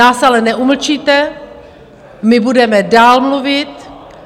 Nás ale neumlčíte, my budeme dál mluvit.